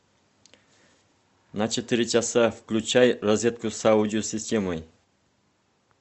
на четыре часа включай розетку с аудио системой